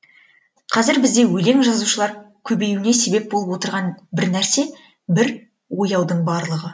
қазір бізде өлең жазушылар көбеюіне себеп болып отырған бір нәрсе бір ояудың барлығы